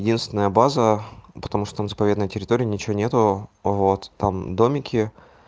единственная база потому что в заповедной территории ничего нет вот там домики